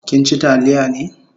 Kin chi taliya ne?